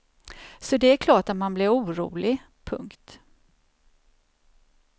Så det är klart att man blir orolig. punkt